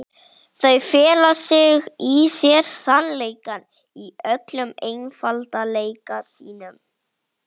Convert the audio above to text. Hún er einsog dreki með tóbaksreykinn vaðandi út úr nösunum.